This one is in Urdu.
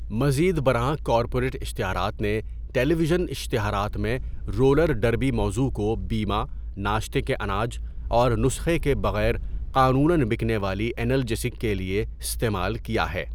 مزید برآں، کارپوریٹ اشتہارات نے ٹیلی ویژن اشتہارات میں رولر ڈربی موضوع کو بیمہ، ناشتے کے اناج، اور نسخے کے بغیر قانوناً بکنے والی ینالجیسک کے لیے استعمال کیا ہے۔